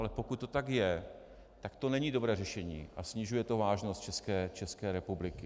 Ale pokud to tak je, tak to není dobré řešení a snižuje to vážnost České republiky.